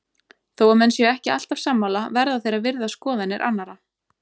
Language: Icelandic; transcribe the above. Þó að menn séu ekki alltaf sammála verða þeir að virða skoðanir annara.